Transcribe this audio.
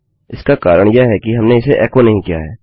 इसका कारण यह है कि हमने इसे एको नहीं किया है